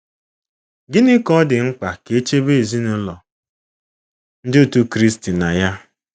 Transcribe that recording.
Gịnị ka ọ dị mkpa ka e chebe ezinụlọ Ndị Otú Kristi na ya?